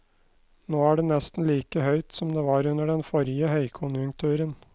Nå er det nesten like høyt som det var under den forrige høykonjunkturen.